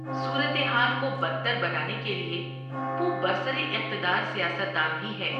صورتحال کو بدتر بنانے کے لیے وہ برسر اقتدار سیاست دان بھی ہے۔